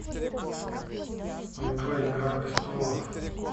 джой игра пристолов